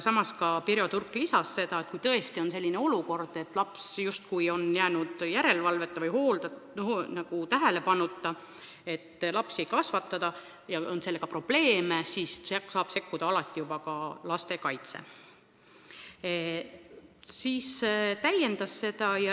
Samas Pirjo Turk lisas, et kui tõesti on selline olukord, et laps on jäänud järelevalveta või tähelepanuta, et keegi teda ei kasvata, sellega on probleeme, siis saab sekkuda lastekaitse.